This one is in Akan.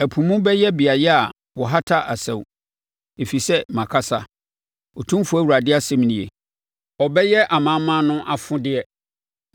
Ɛpo mu, ɔbɛyɛ beaeɛ a wɔhata asau, ɛfiri sɛ makasa. Otumfoɔ Awurade asɛm nie. Ɔbɛyɛ amanaman no afodeɛ,